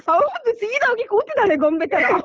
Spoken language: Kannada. ಹೌದೂ ಸೀದ ಹೋಗಿ ಕೂತಿದ್ದಾಳೆ ಗೊಂಬೆ ತರ.